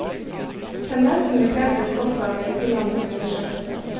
Tendensen bekreftes også av utenlandske undersøkelser.